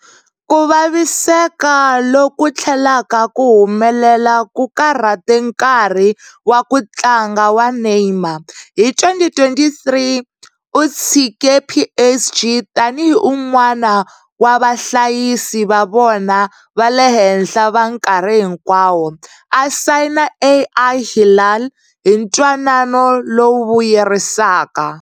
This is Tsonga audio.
Ku vaviseka loku tlhelaka ku humelela ku karhate nkarhi wa ku tlanga wa Neymar, hi 2023 u tshike PSG tani hi un'wana wa vahlayisi va vona va le henhla va nkarhi hinkwawo, a sayina Al Hilal hi ntwanano lowu vuyerisaka.